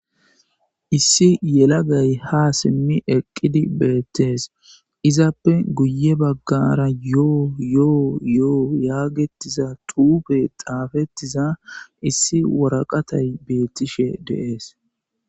issi yelagay ha simmi eqqidi beettees izappe guye baggara yo7o yoo yoo yaagettiza tuupe xaafettiza issi woraqatay beettishe deees